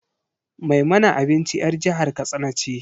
Mai mana abinci 'yar jihar katsina ce.